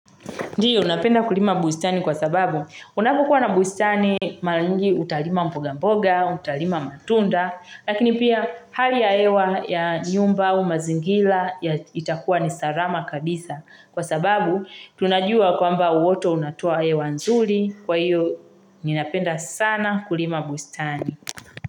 Ndiyo, napenda kulima bustani kwa sababu unapokuwa na bustani mara nyingi utalima mboga mboga, utalima matunda, lakini pia hali ya hewa ya nyumba au mazingira itakuwa ni salama kabisa. Kwa sababu tunajua kwamba uoto unatoa hewa nzuri, kwa hiyo ninapenda sana kulima bustani.